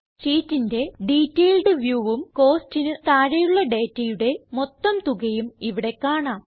ഷീറ്റിന്റെ ഡീറ്റെയിൽഡ് viewഉം Costsന് താഴെയുള്ള ഡേറ്റയുടെ മൊത്തം തുകയും ഇവിടെ കാണാം